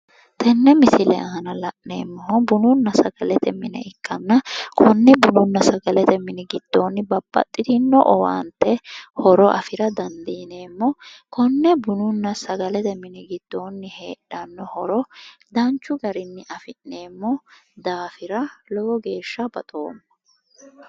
Tenne misile aana la'neemmohu bununna sagalete mine ikkanna konne bununna sagalete mini giddoonni babbaxitino owaante horo afira dandiineemmo konne bununna sagalete mini giddoonni heedhanno horo danchu garinni afi'neemmo daafira lowo geeshshaa baxoommo